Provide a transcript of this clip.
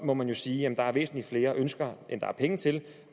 må man jo sige at der er væsentlig flere ønsker end der er penge til